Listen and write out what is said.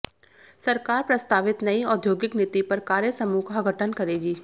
सरकार प्रस्तावित नयी औद्योगिक नीति पर कार्यसमूह का गठन करेगी